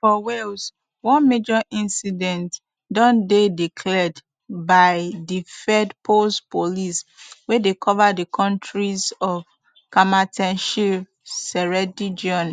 for wales one major incident don dey declared by dyfedpowys police wey dey cover di counties of carmarthenshire ceredigion